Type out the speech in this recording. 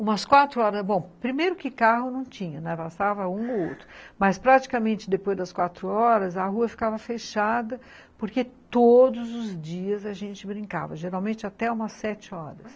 Umas quatro horas, bom, primeiro que carro não tinha, bastava um ou outro, mas praticamente depois das quatro horas a rua ficava fechada porque todos os dias a gente brincava, geralmente até umas sete horas.